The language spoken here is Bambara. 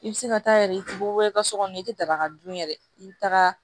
I bɛ se ka taa yɛrɛ i tɛ bɔ i ka so kɔnɔ i tɛ daga dun yɛrɛ i bɛ taga